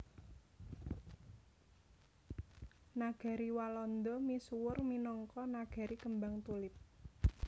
Nagari Walanda misuwur minangka nagari kembang tulip